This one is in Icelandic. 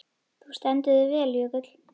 Þú stendur þig vel, Jökull!